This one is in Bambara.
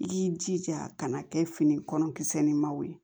I y'i jija kana kɛ fini kɔnɔ kisɛ nin maw ye